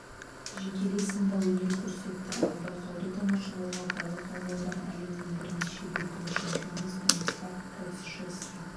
жекелей сында өнер көрсетті ал байқауды тамашалауға балық аулаудан әлемнің бірнеше дүркін чемпионы станислав радзишевский